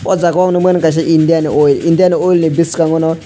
oh jagao nukmani kaisa Indian oil Indian oil ni biskango no.